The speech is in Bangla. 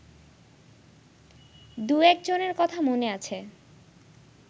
দু-একজনের কথা মনে আছে